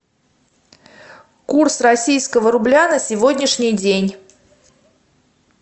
курс российского рубля на сегодняшний день